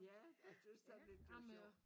Ja og synes da lidt det sjovt